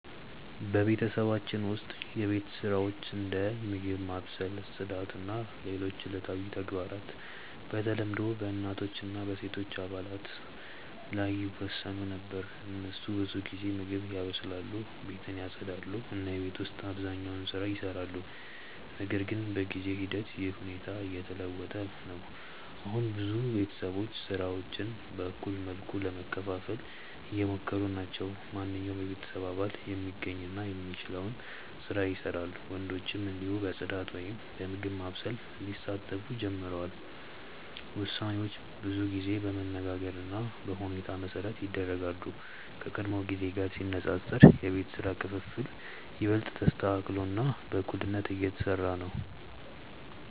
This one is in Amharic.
በቤተሰባችን ውስጥ የቤት ስራዎች እንደ ምግብ ማብሰል፣ ጽዳት እና ሌሎች ዕለታዊ ተግባራት በተለምዶ በእናቶች እና በሴቶች አባላት ላይ ይወሰኑ ነበር። እነሱ ብዙ ጊዜ ምግብ ያበስላሉ፣ ቤትን ያጽዳሉ እና የቤት ውስጥ አብዛኛውን ስራ ይሰራሉ። ነገር ግን በጊዜ ሂደት ይህ ሁኔታ እየተለወጠ ነው። አሁን ብዙ ቤተሰቦች ስራዎችን በእኩል መልኩ ለመከፋፈል እየሞከሩ ናቸው። ማንኛውም የቤተሰብ አባል የሚገኝ እና የሚችለውን ስራ ይሰራል፣ ወንዶችም እንዲሁ በጽዳት ወይም በምግብ ማብሰል ሊሳተፉ ጀምረዋል። ውሳኔዎች ብዙ ጊዜ በመነጋገር እና በሁኔታ መሠረት ይደረጋሉ፣ ከቀድሞ ጊዜ ጋር ሲነጻጸር የቤት ስራ ክፍፍል ይበልጥ ተስተካክሎ እና በእኩልነት እየተሰራ ነው።